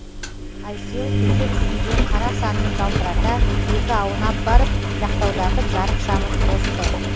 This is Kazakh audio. айсел төсек үстінде қара санын жалтырата екі аунап барып жақтаудағы жарық шамын қосты